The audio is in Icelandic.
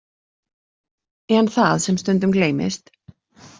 En það sem stundum gleymist.